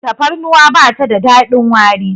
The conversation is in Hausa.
tafarnuwa ba ta da dadin wari